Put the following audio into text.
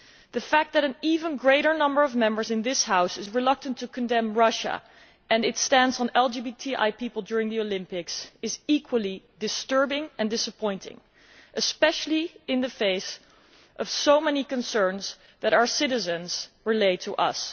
The fact that an even greater number of Members in this House is reluctant to condemn Russia and its stance on LGBTI people during the Olympics is equally disturbing and disappointing, especially in the face of so many concerns that our citizens relay to us.